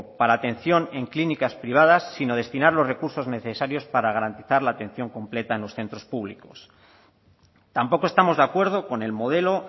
para atención en clínicas privadas sino destinar los recursos necesarios para garantizar la atención completa en los centros públicos tampoco estamos de acuerdo con el modelo